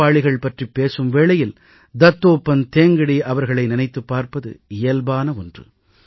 உழைப்பாளிகள் பற்றிப் பேசும் வேளையில் தத்தோபந்த் தேங்கடீ அவர்களை நினைத்துப் பார்ப்பது இயல்பான ஒன்று